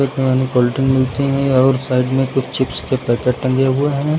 Cold drink मिलती है और साइड में कुछ चिप्स का पैकेट टंगे हुए हैं।